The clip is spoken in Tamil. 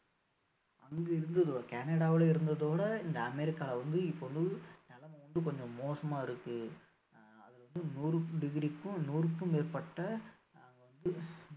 அங்கு இருந்ததோட கனடால இருந்ததோட இந்த அமெரிக்கா வந்து இப்போ வந்து நிலமை கொஞ்சம் மோசமா இருக்கு ஆஹ் அது வந்து நூறு degree க்கும் நூறுக்கும் மேற்பட்ட அங்க வந்து